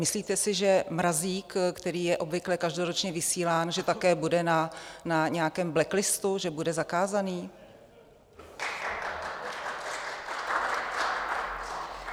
Myslíte si, že Mrazík, který je obvykle každoročně vysílán, že také bude na nějakém blacklistu, že bude zakázaný?